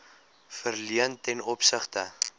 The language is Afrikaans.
verleen ten opsigte